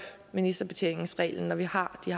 ministerbetjeningsreglen når vi har de